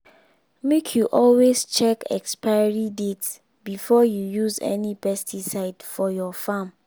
make you always check expiry date before you use any pesticide for your farm.